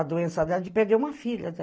A doença dela de perder uma filha.